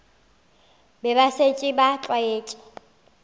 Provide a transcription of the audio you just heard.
be ba šetše ba tlwaetše